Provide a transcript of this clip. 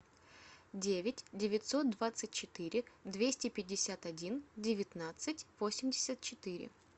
девять девятьсот двадцать четыре двести пятьдесят один девятнадцать восемьдесят четыре